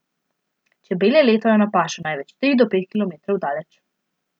Čebele letajo na pašo največ tri do pet kilometrov daleč.